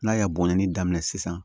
N'a y'a bɔnni daminɛ sisan